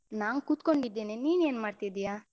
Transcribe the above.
ನಾನ್ ಕುತ್ಕೊಂಡಿದ್ದೇನೆ, ನೀನ್ ಏನ್ಮಾಡ್ತಿದ್ಯಾ?